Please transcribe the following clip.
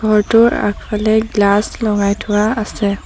ঘৰটোৰ আগফালে গ্লাচ লগাই থোৱা আছে।